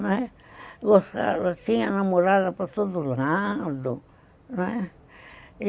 Gostava, tinha namorada para todo lado, né?